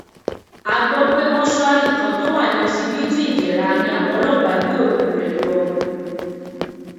a gbọ pé mọṣúárì kan tó wà ní ọsibítù ìdẹra ni àwọn ọlọpàá gbé òkú rẹ lọ